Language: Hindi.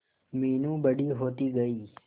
मीनू बड़ी होती गई